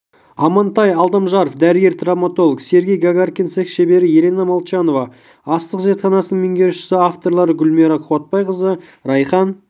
амантай алдамжаров дәрігер-травматолог сергей гагаркин цех шебері елена молчанова астық зертханасының меңгерушісі авторлары гүлмайра қуатбайқызы райхан